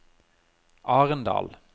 Arendal